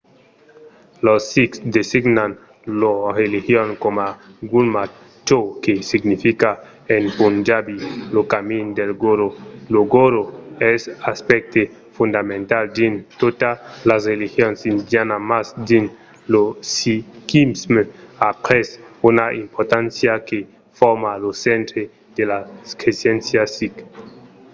los sikhs designan lor religion coma gurmat çò que significa en punjabi lo camin del goró". lo goró es un aspècte fondamental dins totas las religions indianas mas dins lo sikhisme a pres una importància que forma lo centre de las cresenças sikhs